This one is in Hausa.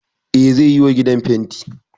Eh zai yiwa gidan fenti